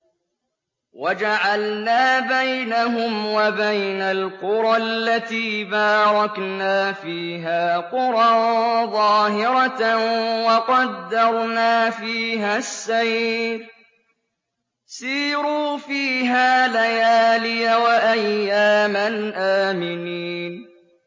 وَجَعَلْنَا بَيْنَهُمْ وَبَيْنَ الْقُرَى الَّتِي بَارَكْنَا فِيهَا قُرًى ظَاهِرَةً وَقَدَّرْنَا فِيهَا السَّيْرَ ۖ سِيرُوا فِيهَا لَيَالِيَ وَأَيَّامًا آمِنِينَ